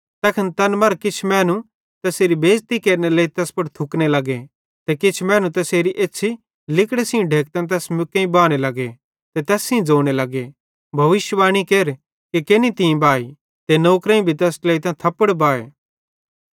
तैखन तैन मरां किछ मैनू तैसेरी बेज़ती केरनेरे लेइ तैस पुड़ थुकने लग्गे ते किछ मैनू तैसेरी एछ़्छ़ी लिगड़े सेइं ढेकतां तैस मुक्केईं बाने लग्गे ते तैस सेइं ज़ोने लग्गे भविष्यिवाणी केर कि केनि तीं बाई ते नौकरेईं भी तैस ट्लेइतां थप्पड़ बाए